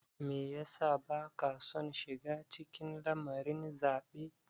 Me ya sa baka son shiga cikin lamarin zaɓe?